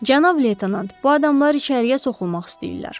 Cənab leytenant, bu adamlar içəriyə soxulmaq istəyirlər.